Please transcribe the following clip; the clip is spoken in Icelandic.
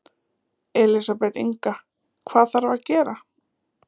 Elísabet Inga: Hvað þarf að gera?